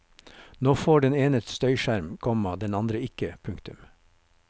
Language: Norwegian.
Nå får den ene støyskjerm, komma den andre ikke. punktum